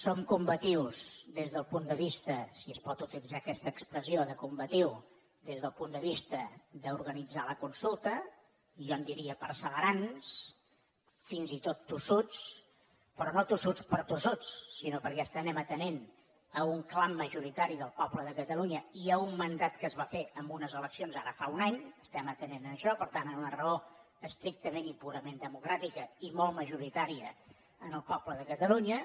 som combatius des del punt de vista si es pot utilitzar aquesta expressió de combatiu d’organitzar la consulta jo en diria perseverants fins i tot tossuts però no tossuts per tossuts sinó perquè estem atenent a un clam majoritari del poble de catalunya i a un mandat que es va fer en unes eleccions ara fa un any estem atenent a això per tant una raó estrictament i purament democràtica i molt majoritària en el poble de catalunya